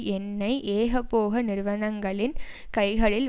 எண்ணெய் ஏகபோக நிறுவனங்களின் கைகளில்